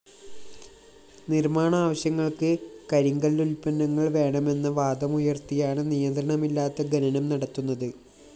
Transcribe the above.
നിര്‍മാണ ആവശ്യങ്ങള്‍ക്ക് കരിങ്കല്ലുല്‍പ്പന്നങ്ങള്‍ വേണമെന്ന വാദമുയര്‍ത്തിയാണ് നിയന്ത്രണമില്ലാത്ത ഖനനം നടത്തുന്നത്